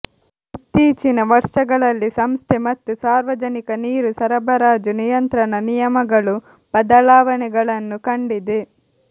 ಇತ್ತೀಚಿನ ವರ್ಷಗಳಲ್ಲಿ ಸಂಸ್ಥೆ ಮತ್ತು ಸಾರ್ವಜನಿಕ ನೀರು ಸರಬರಾಜು ನಿಯಂತ್ರಣ ನಿಯಮಗಳು ಬದಲಾವಣೆಗಳನ್ನು ಕಂಡಿದೆ